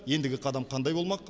ендігі қадам қандай болмақ